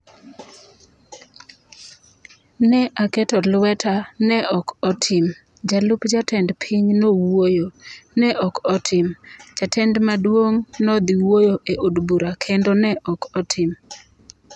Ne aketo lweta kendo ne ok otim, jalup Jatend piny nowuoyo, ne ok otim, Jatend maduong' nodhi wuoyo e od bura kendo ne ok otim